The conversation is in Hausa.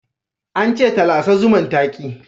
An ce ta lasa zuman, ta ki